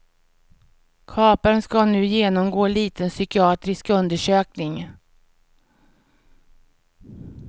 Kaparen ska nu genomgå liten psykiatrisk undersökning.